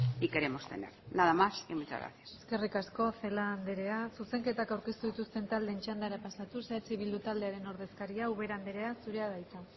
y queremos tener nada más muchas gracias eskerik asko celaá anderea zuzenketak aurkeztu dituzten taldeen txandara pasatuz eh bildu taldearen ordezkaria ubera anderea zurea da hitza